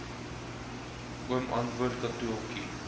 oom antwoord katotjie